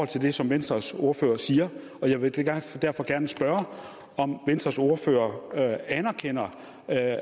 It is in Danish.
til det som venstres ordfører siger og jeg vil derfor gerne spørge om venstres ordfører anerkender